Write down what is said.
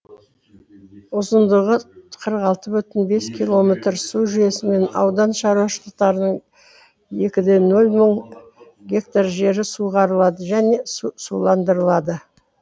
ұзындығы қырық алты бүтін оннан бескилометр су жүйесімен аудан шаруашылықтарының екі де нөл мың га жері суғарылады және суландырылады